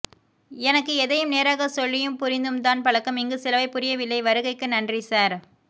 எனக்கு எதையும் நேராகச்சொல்லியும் புரிந்தும்தான் பழக்கம் இங்கு சிலவை புரியவில்லை வருகைக்கு நன்றி சார்